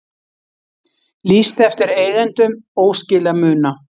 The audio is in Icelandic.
Lýst eftir eigendum óskilamuna